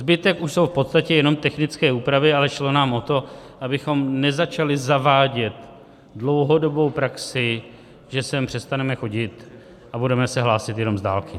Zbytek už jsou v podstatě jenom technické úpravy, ale šlo nám o to, abychom nezačali zavádět dlouhodobou praxi, že sem přestaneme chodit a budeme se hlásit jenom z dálky.